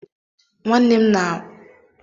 Nwannem m nwaanyị na-esi nri Indomi ahụ